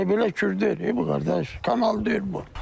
Elə-belə kür deyil bu, qardaş, kanal deyil bu.